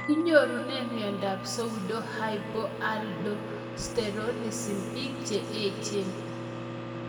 Kinyorune miondop pseudohypoaldosteronism pik che echen